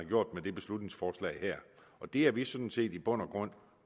gjort med det beslutningsforslag her det er vi sådan set i bund og grund